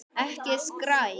Ekki skræk.